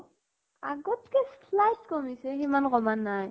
আগত কে slight কমিছে । সিমানো কমা নাই ।